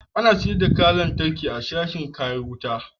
Ana sayar da kayan lantarki a sashin kayan wuta.